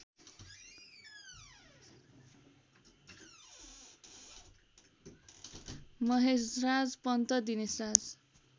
Maheshraj Pant Dineshraj